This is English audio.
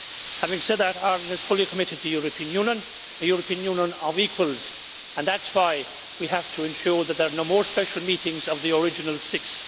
Having said that, Ireland is fully committed to the European Union, a European Union of equals, and that is why we have to ensure that there are no more special meetings of the original six.